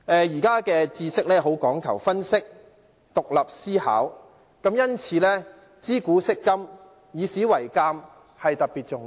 現今社會的知識講究分析和獨立思考，因此知古識今、以史為鑒特別重要。